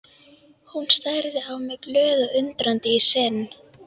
Hún starði á mig glöð og undrandi í senn.